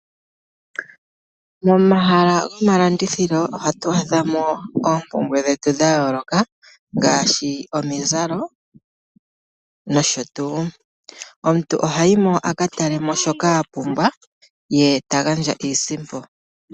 Momahala goma landithilo ohatu adhamo oompumbwe dhetu dha yooloka ngaashi omizalo nosho tuu. Omuntu ohayi mo aka talemo shoka apumbwa ye ta gandja iisimpo.